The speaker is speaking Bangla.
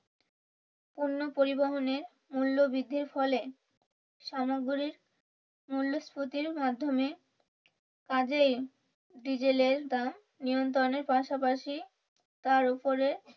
পণ্য পরিবহনে মূল্য বৃদ্ধির ফলে সামগ্রিক মূল্যস্ফীতর মাধ্যমে কাজেই ডিজেলের দাম নিয়ন্ত্রণের পাশাপাশি তার উপরে